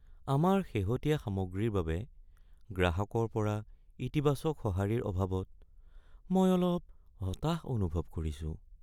আমাৰ শেহতীয়া সামগ্ৰীৰ বাবে গ্ৰাহকৰ পৰা ইতিবাচক সঁহাৰিৰ অভাৱত মই অলপ হতাশ অনুভৱ কৰিছো।